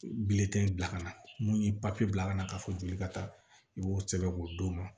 Bilen tɛ bila ka na mun ye papiye bila ka na ka fɔ joli ka taa i b'o sɛbɛn k'o d'o ma